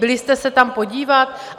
Byli jste se tam podívat?